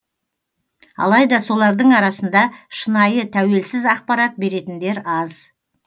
алайда солардың арасында шынайы тәуелсіз ақпарат беретіндер аз